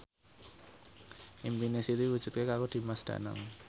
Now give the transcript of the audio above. impine Siti diwujudke karo Dimas Danang